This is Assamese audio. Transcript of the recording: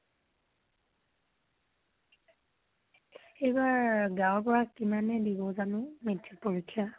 এইবাৰ গাওৰ পৰা কিমানে দিব জানো metric পৰীক্ষা